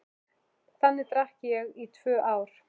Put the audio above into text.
Þannig drakk ég í tvö ár.